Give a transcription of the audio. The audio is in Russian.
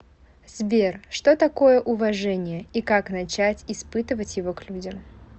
сбер что такое уважение и как начать испытывать его к людям